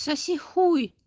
соси хуй